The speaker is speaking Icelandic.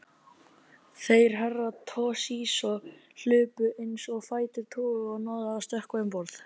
Þeir Herra Toshizo hlupu eins og fætur toguðu og náðu að stökkva um borð.